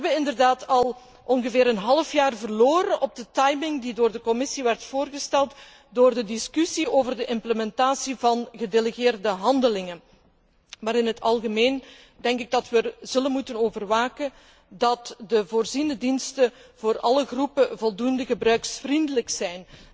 We hebben inderdaad al ongeveer een half jaar verloren op het tijdschema dat door de Commissie werd voorgesteld ten gevolge van de discussie over de implementatie van gedelegeerde handelingen. Maar in het algemeen denk ik dat we erop zullen moeten toezien dat de voorziene diensten voor alle groepen voldoende gebruiksvriendelijk zijn.